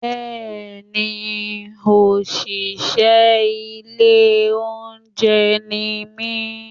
Bẹ́ẹ̀ni òṣìṣẹ́ ilé olóúnjẹ ni mí?